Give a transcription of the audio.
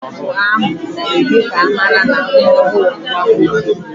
Ọ bụ ámụ̀ na-eme ka amara na nwa ọhụụ bụ nwanwoke.